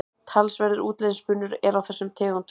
Talsverður útlitsmunur er á þessum tegundum.